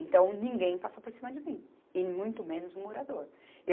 Então, ninguém passa por cima de mim, e muito menos um morador.